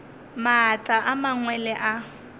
maatla a mangwe le a